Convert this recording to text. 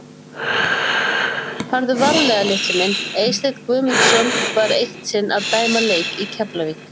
Farðu varlega litli minn Eysteinn Guðmundsson var eitt sinn að dæma leik í Keflavík.